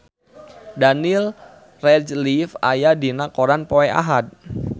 Daniel Radcliffe aya dina koran poe Ahad